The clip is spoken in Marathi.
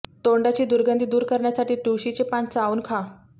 तोंडाची दुर्गंधी दूर करण्यासाठी तुळशीचे पान चाऊन खा